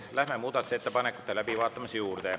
Läheme muudatusettepanekute läbivaatamise juurde.